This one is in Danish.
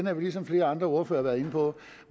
er vi som flere andre ordførere har været inde på